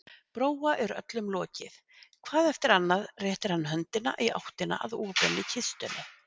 Bróa er öllum lokið, hvað eftir annað réttir hann höndina í áttina að opinni kistunni.